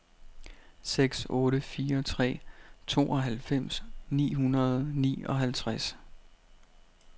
seks otte fire tre tooghalvfems ni hundrede og nioghalvtreds